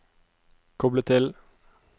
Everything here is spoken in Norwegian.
koble til